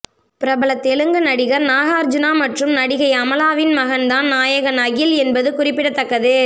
பிரபல தெலுங்கு நடிகர் நாகார்ஜுனா மற்றும் நடிகை அமலாவின் மகன் தான் நாயகன் அகில் என்பது குறிப்பிடத்தக்கது